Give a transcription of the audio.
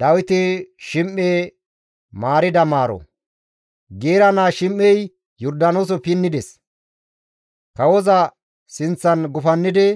Dawiti Shim7e Maarida Maaro Geera naa Shim7ey Yordaanoose pinnides; kawoza sinththan gufannidi,